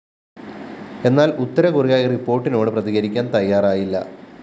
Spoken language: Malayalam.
എന്നാൽ ഉത്തര കൊറിയ ഈ റിപ്പോർട്ടിനോട് പ്രതികരിക്കാൻ തയ്യാറായില്ല